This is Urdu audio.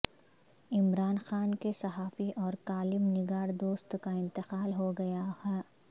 عمران خان کے صحافی اور کالم نگار دوست کا انتقال ہو گیا